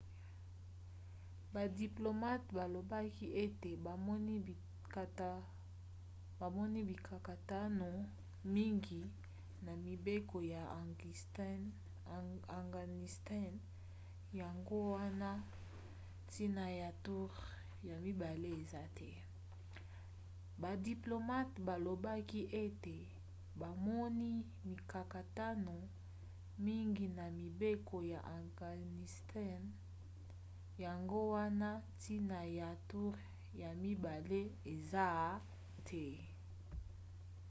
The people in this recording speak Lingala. badiplomate balobaki ete bamoni mikakatano mingi na mibeko ya afghanistan yango wana ntina ya toure ya mibale eza te